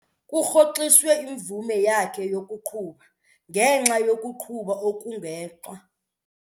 Kurhoxiswe imvume yakhe yokuqhuba ngenxa yokuqhuba okugwenxa.